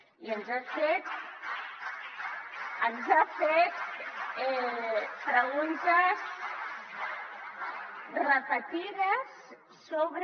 i ens ha fet preguntes repetides sobre